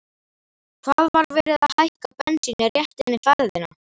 Hvað, var verið að hækka bensínið rétt eina ferðina?